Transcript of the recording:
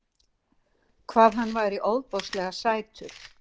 Hvað hann væri ofboðslega sætur.